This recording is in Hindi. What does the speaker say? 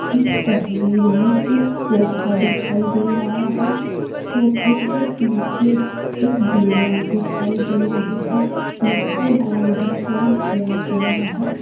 इस तस्वीर में एक सोफा दिखाई दे रहा है सोफे के पीछे एक दीवार दिखाई दे रही है जिस पर गोल्डन कलर किया गया है।